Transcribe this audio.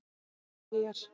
Danskar eyjar